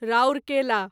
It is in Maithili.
राउरकेला